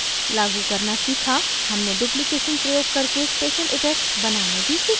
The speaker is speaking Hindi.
हमने duplication प्रयोग करके special effects बनाने भी सीखे